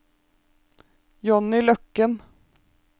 Jonny Løkken